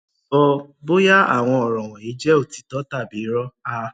sọ bóyá àwọn ọrọ wọnyí jẹ òtítọ tàbí irọ a